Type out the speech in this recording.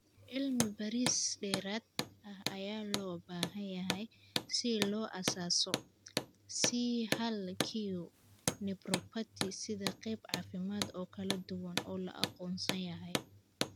Cilmi-baaris dheeraad ah ayaa loo baahan yahay si loo aasaaso C hal q nephropathy sida qayb caafimaad oo kala duwan oo la aqoonsan yahay.